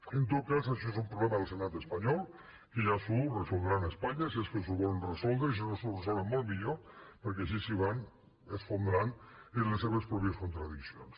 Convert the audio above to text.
en tot cas això és un problema del senat espanyol que ja s’ho resoldran a espanya si és que s’ho volen resoldre i si no s’ho resolen molt millor perquè així es van esfondrant en les seves pròpies contradiccions